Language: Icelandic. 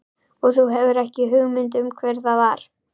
Og þú hefur ekki hugmynd um hver það var?